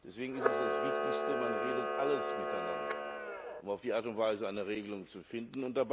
Deswegen ist es das Wichtigste, man redet über alles miteinander, um auf diese Art und Weise eine Regelung zu finden.